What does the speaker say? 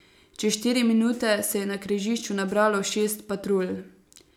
Čez štiri minute se je na križišču nabralo šest patrulj.